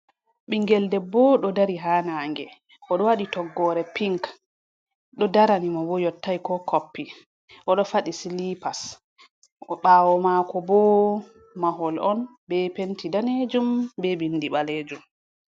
Ɓingel debbo ɗo dari ha nange odɗo waɗi toggore pink ɗo darani mo bo yottai ko koppi oɗo fadi silipas o ɓawo mako bo mahol on be penti danejum be bindi ɓalejum.